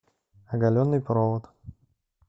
оголенный провод